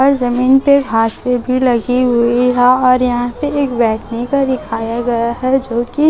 और जमीन पे घासे भी लगी हुई है और यहां पे एक बैठने का दिखाया गया है जोकि--